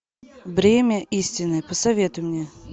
бремя истины посоветуй мне